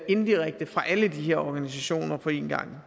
indirekte fra alle de her organisationer på en gang